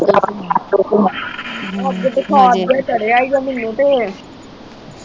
ਅੱਜ ਬੁਖਾਰ ਜਾ ਚੜਿਆ ਈ ਗਾ ਮੈਨੂੰ ਤੇ